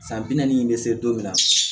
San bi naani bɛ se don min na